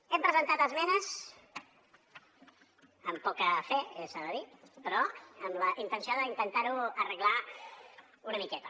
hem presentat esmenes amb poca fe s’ha de dir però amb la intenció d’intentar ho arreglar una miqueta